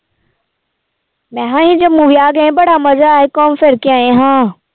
ਮੈਂ ਕਿਹਾ ਅਸੀਂ ਜੰਮੂ ਵਿਆਹ ਗਏ ਬੜਾ ਮਜ਼ਾ ਆਇਆ ਸੀ ਘੁੰਮ ਫਿਰ ਕੇ ਆਏ ਹਾਂ